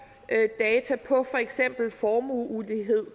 data på for eksempel formueulighed